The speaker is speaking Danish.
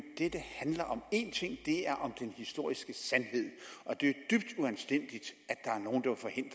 dette handler om én ting og det er den historiske sandhed og det er dybt uanstændigt